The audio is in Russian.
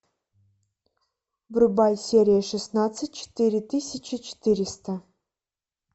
врубай серия шестнадцать четыре тысячи четыреста